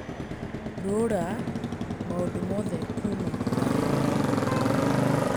rũra maũndũ mothe kuuma kalendarĩ-inĩ